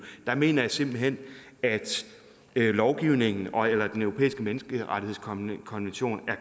der mener jeg simpelt hen at lovgivningen ogeller den europæiske menneskerettighedskonvention er